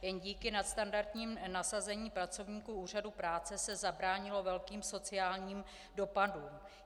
Jen díky nadstandardnímu nasazení pracovníků úřadu práce se zabránilo velkým sociálním dopadům.